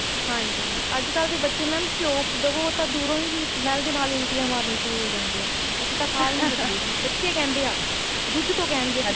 ਹਾਂਜੀ ਅੱਜਕਲ ਦੇ ਬੱਚੇ mam ਘਿਉ ਉਹ ਤਾਂ ਦੂਰੋ smell ਦੇ ਨਾਲ ਹੀ ਉਲਟੀ ਮਾਰਨੀਆ ਸ਼ੁਰੂ ਹੋ ਜਾਂਦੀਆ ਅਸੀਂ ਤਾਂ ਖਾ ਈ ਨੀ ਸਕਦੇ ਜੀ ਬੱਚੇ ਕਹਿੰਦੇ ਆ ਦੁੱਧ ਤੋਂ ਕਹਿਣਗੇ